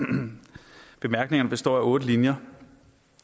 bemærkningerne består af otte linjer